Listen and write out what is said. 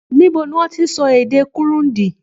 Níbo ni wọ́n ti ń sọ èdè Kurundi?